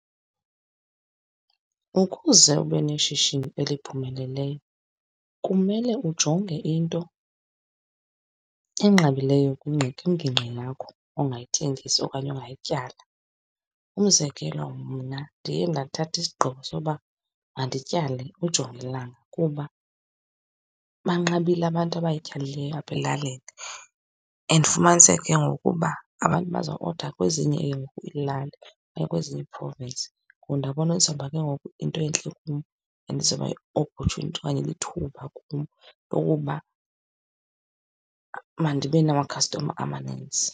Ukuze ube neshishini eliphumeleleyo kumele ujonge into enqabileyo kwingingqi yakho ongayithengesa okanye ongayityala. Umzekelo, mna ndiye ndathatha isigqibo sokuba mandityale ujongilanga kuba banqabile abantu abayityalileyo apha elalini and ufumanise ke ngoku uba abantu bazawuoda kwezinye ke ngoku iilali okanye kwezinye ii-province. Ngoku ndabona izawuba ke ngoku yinto entle kum, and izawuba yi-opportunity okanye lithuba kum lokuba mandibe namakhastoma amaninzi.